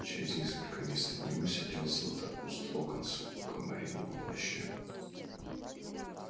через несколько мест от него сидел златопуст локонс в аквамариновом плаще